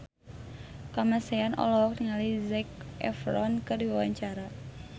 Kamasean olohok ningali Zac Efron keur diwawancara